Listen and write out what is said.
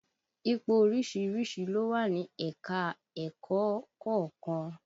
Ipò oríṣiríṣi ló wà ní ẹ̀ka-ẹ̀kọ́ kọ̀ọ̀kan